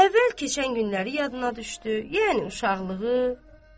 Əvvəl keçən günləri yadına düşdü, yəni uşaqlığı.